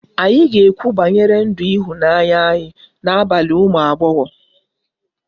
Anyị ga-ekwu banyere ndụ ịhụnanya anyị n'abalị ụmụ agbọghọ